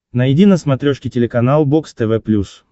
найди на смотрешке телеканал бокс тв плюс